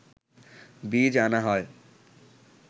বীজ আনা হয়